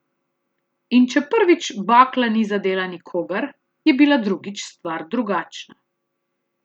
In če prvič bakla ni zadela nikogar, je bila drugič stvar drugačna.